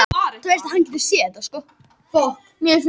Það tekur hann þó lengri tíma að ná sér en hann hefði vonað.